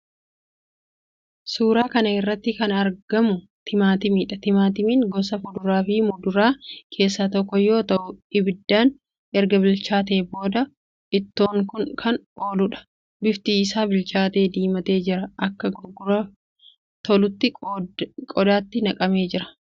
Suuraa kana irratti kan argamu timaatimiidha. Timaatimiin gosa kuduraafi muduraa keessaa tokko yoo ta'u abiddaan erga bilchaatee booda ittoof kan ooluudha. Bifti isaa bilchaatee diimatee jira. Akka gurguraaf tolutti qodaatti naqamee jira.